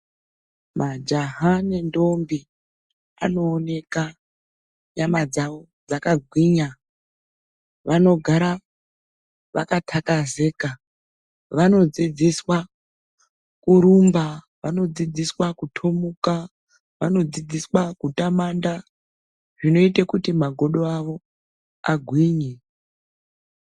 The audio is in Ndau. Majaha nendombi vanooneka nyama dzawo dzakagwinya. Vanogara vakathakazeka. Vanodzidziswa kurumba. Vanodzidziswa kutomuka, vanodzidziswa, kutamanda zvinoite kuti magodo avo agwinye.